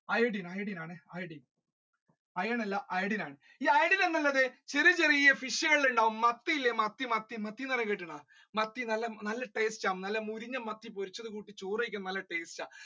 iodine iodine ആണേ iron അല്ല iodine ആണ് ഈ iodine എന്നുള്ളത് ചെറിയ ചെറിയ fish കളിൽ ഉണ്ടാവും മത്തിയില്ലേ മത്തി മത്തി മത്തി ന്ന് പറഞ്ഞാ കേട്ടിക്ക്ണോ മത്തി നല്ല taste ആ നല്ല മുരിഞ്ഞ മത്തി കൂട്ടി ചോറ് കഴിക്കാൻ നല്ല taste ആ